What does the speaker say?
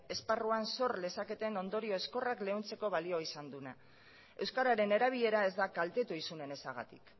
esparruan sor lezaketen ondorio ezkorrak leuntzeko balio izan dunak euskararen erabilera ez da kaltetu isunen ezagatik